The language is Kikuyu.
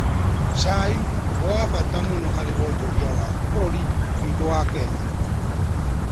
Cai nĩ wa bata mũno harĩ wonjoria wa bũrũri witũ wa Kenya.